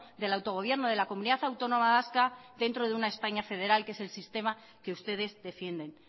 del autogobierno de la comunidad autónoma vasca dentro de una españa federal que es el sistema que ustedes defienden